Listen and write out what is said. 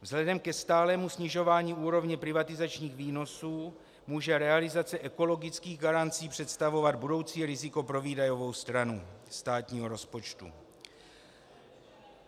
Vzhledem ke stálému snižování úrovně privatizačních výnosů může realizace ekologických garancí představovat budoucí riziko pro výdajovou stranu státního rozpočtu.